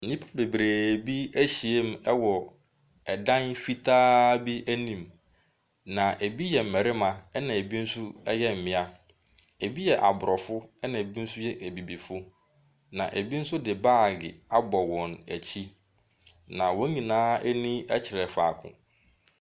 Nnipa bebree bi ahyia mu wɔ dan fitaa bi anim. Na bi yɛ mmarima na bi nso yɛ mmea, bi yɛ aborɔfo na bi nso yɛ abibifo. Na bi nso de baage abɔ wɔn akyi. Na wɔn nyinaa ani kyerɛ faako.